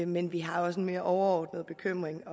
men vi har også en mere overordnet bekymring